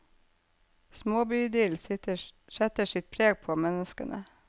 Småbyidyll setter sitt preg på menneskene.